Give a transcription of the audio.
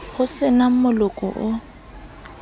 ho se na moloko o